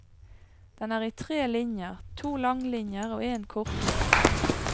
Den er i tre linjer, to langlinjer og en kortlinje.